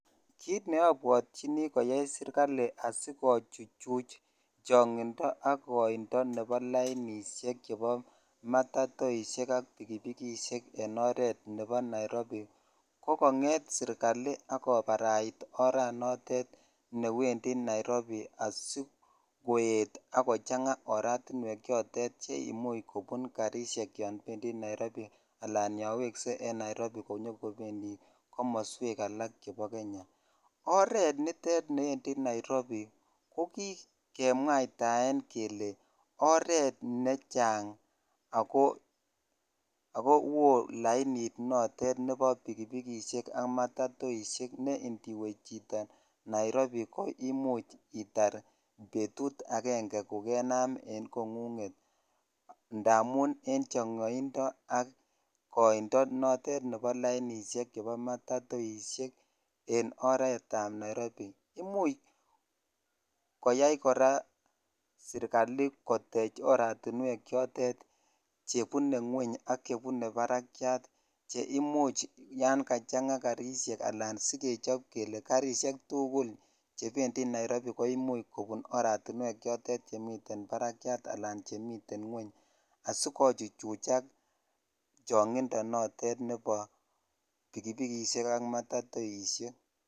Kiit neobwotyini koyai serikali asikochuchuch chong'indo ak koindo chebo lainishek chebo matatoisiek ak pikipikisiek en oreet nebo Nairobi ko kong'et serikali ak kobarait oranotet newendi Nairobi asikoet ak kochang'a oratinwek chotet che imuch kobun karishek yoon bendi Nairobi alaan yoon wekse en Naiirobi konyokobendi komoswek alak chebo Kenya, oranitet niwendi Nairobi ko kikemwaitaen kelee oreet nechang ak kowoo lainit notet nebo pikipikisiek ak matatoisiek ne indiwe chito nairobi ko imuch itar betut akenge kokenam en kong'ung'et amun en chong'oindo ak koindo notet nebo lainishek chebo matatoisiek en oretab Nairobi, imuch koyai kora serikali kotech oratinwek chotet chebune ngweny ak chebune barakiat cheimuch yoon kachang'a karishek anan sikechob kelee karishek tukul chebendi Nairobi koimuch kobun oratinwek chotet chmiten barakiat alaan chemiten ngweny asikochuchuchak chong'indo notet nebo pikipikisiek ak matatoisiek.